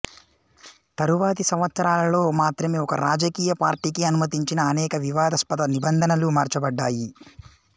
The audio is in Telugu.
తరువాతి సంవత్సరాలలో మాత్రమే ఒక రాజకీయ పార్టీకి అనుమతించిన అనేక వివాదాస్పద నిబంధనలు మార్చబడ్డాయి